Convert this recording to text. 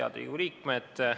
Head Riigikogu liikmed!